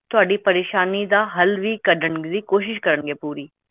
ਤੁਹਾਡੀ ਪਰੇਸ਼ਾਨੀ ਦਾ ਹਲ ਕਡਣ ਦੀ ਕੋਸ਼ਿਸ਼ ਕਰਨਗੇ